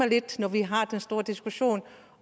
lidt når vi har den store diskussion